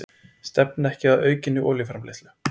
Stefna ekki að aukinni olíuframleiðslu